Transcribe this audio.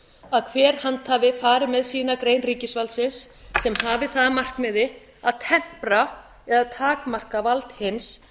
að hver handhafi fari með sína grein ríkisvaldsins sem hafi það að markmiði að tempra eða takmarka vald hins